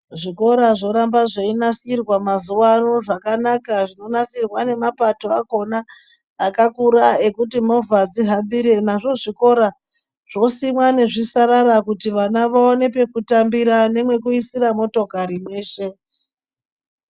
Zvikora zvoramba zvei nasirwa mazuva ano zvakanaka zvino nasirwa ne mapato akona akakura ekuti movha dzi hambire nazvo zvikora zvosimwa nezvi sarara kuti vana vaone peku tambira nemwe kuisira motikari mweshe.